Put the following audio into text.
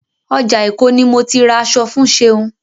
Ọjà Èkó ni mo ti ra aṣọ fún Ṣeun.